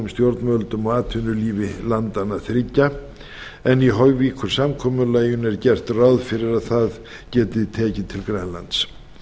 stjórnvöldum og atvinnulífi landanna þriggja en í hoyvíkursamkomulaginu er gert ráð fyrir að það geti tekið til grænlands